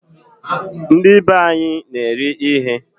Ndibe anyị na-eri ihe